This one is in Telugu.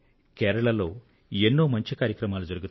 కేరళలో ఎన్నో మంచి కార్యక్రమాలు జరుగుతాయి